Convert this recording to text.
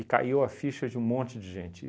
caiu a ficha de um monte de gente.